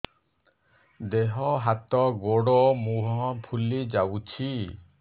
ଦେହ ହାତ ଗୋଡୋ ମୁହଁ ଫୁଲି ଯାଉଛି